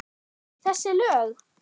Þessi lög?